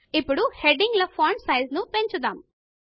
ఇప్పుడు హెడింగ్ ల ఫాంట్ సైజును పెంచుదాము